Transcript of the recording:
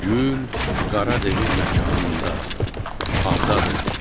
O gül Qara Devin məkanında bağdadır.